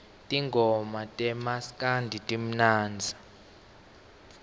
tingoma tamaskandi timnandzi